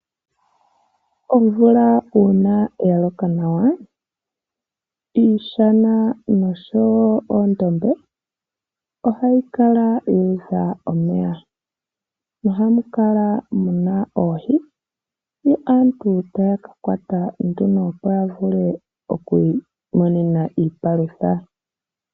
Omvula uuna ya loka nawa iishana noshowo oondombe ohayi kala yu udha omeya nohamu kala muna oohi, yo aantu taya ka kwata nduno opo ya vule oku imonena iipalutha.